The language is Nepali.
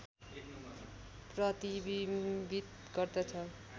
प्रतिबिम्बित गर्दछ